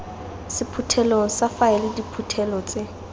sephuthelong sa faele diphuthelo tse